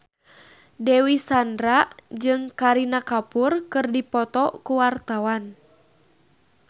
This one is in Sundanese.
Dewi Sandra jeung Kareena Kapoor keur dipoto ku wartawan